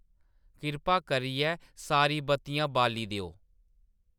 किरपा करियै सारी बत्तियां बाली देओ